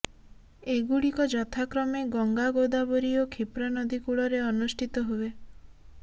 ଏଗୁଡ଼ିକ ଯଥାକ୍ରମେ ଗଙ୍ଗା ଗୋଦାବରୀ ଓ କ୍ଷୀପ୍ରା ନଦୀ କୂଳରେ ଅନୁଷ୍ଠିତ ହୁଏ